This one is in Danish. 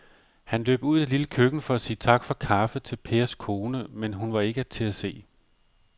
Han løb ud i det lille køkken for at sige tak for kaffe til Pers kone, men hun var ikke til at se.